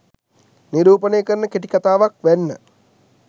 නිරූපණය කරන කෙටි කතාවක් වැන්න.